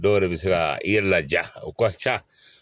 Dɔw yɛrɛ bɛ se ka i yɛrɛ laja o ka ca